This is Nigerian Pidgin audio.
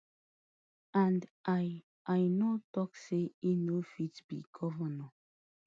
and i i no tok say e no fit be govnor